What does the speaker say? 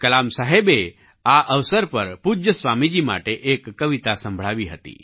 કલામસાહેબે આ અવસર પર પૂજ્ય સ્વામીજી માટે એક કવિતા સંભળાવી હતી